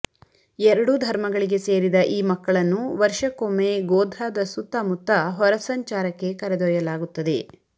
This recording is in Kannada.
ಎರಡೂ ಧರ್ಮಗಳಿಗೆ ಸೇರಿದ ಈ ಮಕ್ಕಳನ್ನು ವರ್ಷಕ್ಕೊಮ್ಮೆ ಗೋಧ್ರಾದ ಸುತ್ತಮುತ್ತ ಹೊರಸಂಚಾರಕ್ಕೆ ಕರೆದೊಯ್ಯಲಾಗುತ್ತದೆ